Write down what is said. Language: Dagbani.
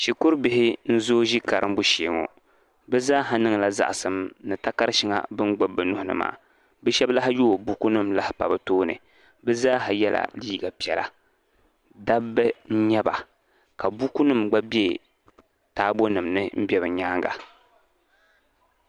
Shikuru bihi n zoo ʒi karimbu shee ŋɔ bɛ zaa ha niŋla zaɣasim ni takara sheŋa bini gbibi bɛ nuhini maa bɛ sheba lahi yoogi buku nima lahi pa bɛ tooni bɛ zaa ha yela liiga piɛla dabba n nyɛba ka buku nima gba be taabo nimani m be bɛ nyaanga.